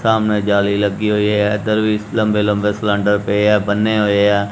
ਸਾਹਮਣੇ ਜਾਲੀ ਲੱਗੀ ਹੋਈ ਹੈ ਇੱਧਰ ਵੀ ਲੰਬੇ-ਲੰਬੇ ਸਿਲੈਂਡਰ ਪਏ ਆ ਬੰਨੇ ਹੋਏ ਆ।